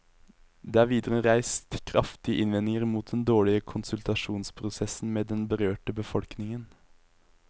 Det er videre reist kraftige innvendinger mot den dårlige konsultasjonsprosessen med den berørte befolkningen.